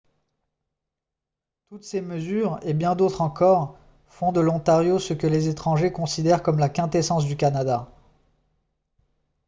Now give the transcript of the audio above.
toutes ces mesures et bien d'autres encore font de l'ontario ce que les étrangers considèrent comme la quintessence du canada